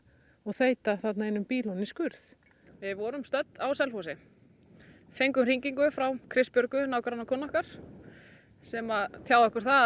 og þeyta þarna einum bíl ofan í skurð við vorum stödd á Selfossi fengum hringingu frá Kristbjörgu nágrannakonu okkar sem tjáði okkur það